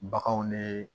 Baganw ne